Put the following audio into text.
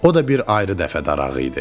O da bir ayrı dəfə darağı idi.